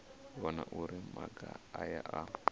vhona uri maga aya a